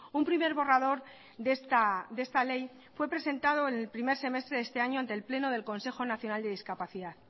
un primer borrador de esta ley fue presentado el primer semestre de este año ante el pleno del consejo nacional de discapacidad